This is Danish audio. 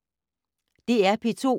DR P2